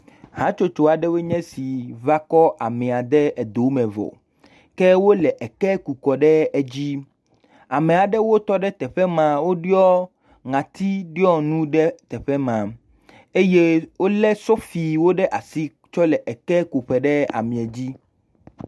Hatsotso aɖewo nye esi va kɔ amea de edo me vɔ, wole eke ku kɔ edzi. Ame aɖewo tɔ ɖe teƒe ma, woɖɔ ŋɔtiɖɔnu ɖe teƒe ma eye wolé sofiwo ɖe asi tsɔ le eke ku ƒo ɖe amea dzi.